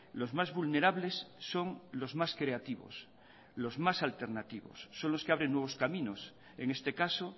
los más vulnerables son los más creativos los más alternativos son los que abren nuevos caminos en este caso